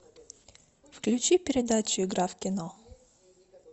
включи передачу игра в кино